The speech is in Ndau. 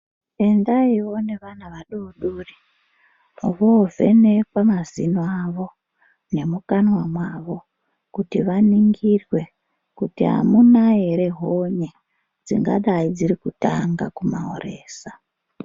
Endaiwo nevana vadoodori voovhenekwe mazino avo nemukanwa mwavo kuti vaningirwe kuti amuna ere honye dzingadai dziri kutanga kumahoresa.